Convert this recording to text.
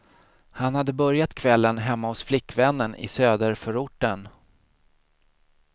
Han hade börjat kvällen hemma hos flickvännen i söderförorten.